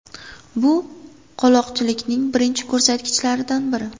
Bu – qoloqlikning birinchi ko‘rsatkichlaridan biri.